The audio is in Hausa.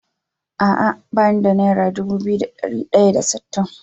Ah ah bani da naira Dubu biyu da dari daya da sittin